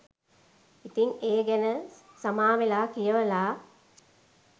ඉතින් ඒ ගැන සමාවෙලා කියවල